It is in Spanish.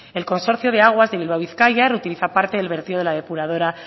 el consorcio de aguas de bilbao bizkaia reutiliza parte del vertido de la depuradora